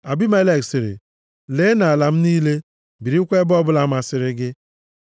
Abimelek sịrị, “Lee nʼala m niile, birikwa nʼebe ọbụla masịrị gị.”